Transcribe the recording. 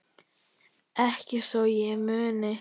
Ekki svo ég muni.